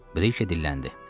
Brike dilləndi.